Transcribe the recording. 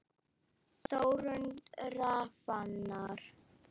Þórunn Rafnar.